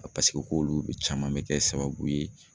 A paseke k'olu caman bɛ kɛ sababu ye